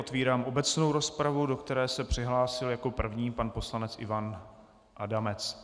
Otevírám obecnou rozpravu, do které se přihlásil jako první pan poslanec Ivan Adamec.